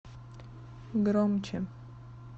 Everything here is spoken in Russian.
громче